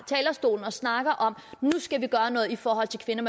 talerstolen og snakker om at nu skal vi gøre noget i forhold til kvinder